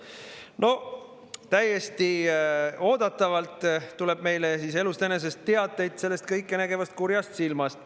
No täiesti oodatavalt tuleb meile siis elust enesest teateid sellest kõikenägevast kurjast silmast.